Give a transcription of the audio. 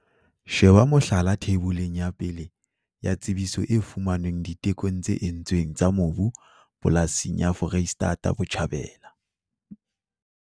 Sheba mohlala Theiboleng ya 1 ya tsebiso e fumanweng ditekong tse entsweng tsa mobu polasing ya Foreisetata Botjhabela.